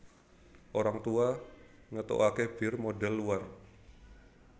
Orang Tua ngetoake bir modhel luar